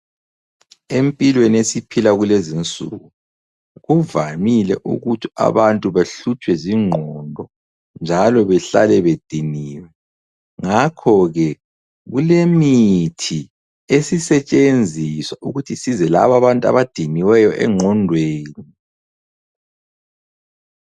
Empilweni esiphilwa kulezinsuku kuvamile ukuthi abantu bahlutshwe zingqondo njalo behlale bediniwe ngakhoke kulemithi esisetshenziswa ukuthi isize laba abantu abadiniweyo engqondweni.